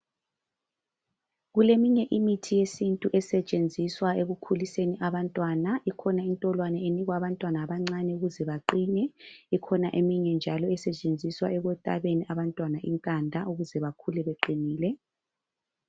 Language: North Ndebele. Kuleminye imithi yesintu esetshenziswa ekukhuliseni abantwana. Ikhona intolwane enikwa abantwana abancane ukuze baqine, ikhona eminye njalo esetshenziswa ekutabeni abantwana inkanda ukuze bakhule beqinile